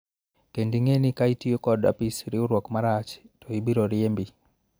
kendo ing'e ni ka itiyo kod apis riwruok marach to ibiro riembi